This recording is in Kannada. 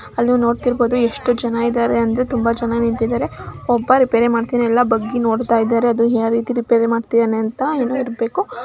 ಅಲ್ಲಿ ನೀವ್ ನೋಡ್ತಿರ್ಬೋದು ಎಷ್ಟು ಜನ ಇದಾರೆ ಅಂತ ತುಂಬಾ ಜನ ನಿಂತಿದರೆ. ಒಬ್ಬ ರಿಪೇರಿ ಮಾಡ್ತಾಯಿದಾನೆ ಎಲ್ಲ ಬಗ್ಗಿ ನೋಡ್ತಿದಾರೆ ಯಾವ ರೀತಿ ರಿಪೇರಿ ಮಾಡ್ತಿದಾನೆ ಅಂತ.